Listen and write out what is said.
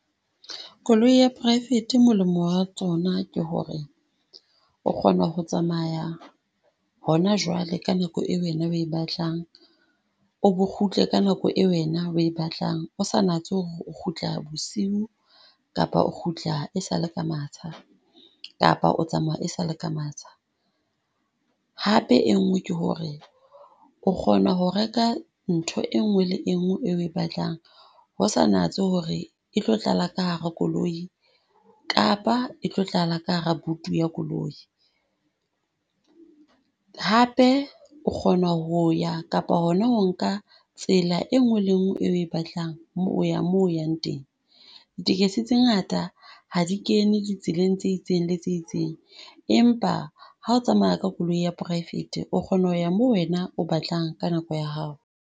Koloi ya praefete molemo wa tsona ke ho re, o kgona ho tsamaya hona jwale ka nako wena o e batlang, o bo kgutle ka nako e wena o e batlang. O sa natse ho re o kgutla bosiu kapa o kgutla e sa le ka matsha kapa o tsamaya e sa le ka matsha. Hape enngwe ke ho re o kgona ho reka ntho enngwe le enngwe e o e batlang, ho sa natse ho re e tlo tlala ka hara koloi kapa e tlo tlala ka hara buti ya koloi. Hape o kgona ho ya kapa hona ho nka tsela enngwe le enngwe e batlang mo, ho ya mo o yang teng. Ditekesi tse ngata ha di kene di tseleng tse itseng le tse itseng, empa ha o tsamaya ka koloi ya poraefete o kgona ho ya mo wena o batlang ka nako ya hao.